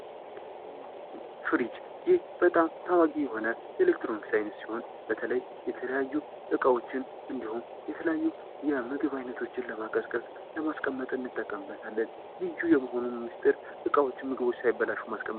ፍሪጅ ይህ በጣም ታዋቂ የሆነ የኤሌክትሮኒክስ አይነት ሲሆን በተለይ የተለያዩ እቃዎችን እንድሁም የተለያዩ የምግብ አይነቶችን ለማቀዝቀዝ ለማስቀመጥ እንጠቀምበታለን ልዩ የመሆኑም ምስጢር እቃዎችን ምግቡ ውስጥ ሳይበላሹ ማስቀመጥ ነው።